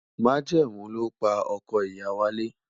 Majẹmu lopa ọkọ iya walẹ